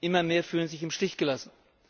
Immer mehr fühlen sich im Stich gelassen.